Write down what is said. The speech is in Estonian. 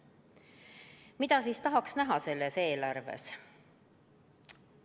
Mida siis tahaks selles eelarves näha?